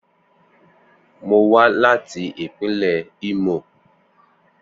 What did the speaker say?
Mo wa lati ipinle Imo.